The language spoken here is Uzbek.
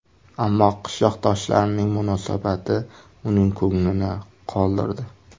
Ammo qishloqdoshlarining munosabati uning ko‘nglini qoldirdi.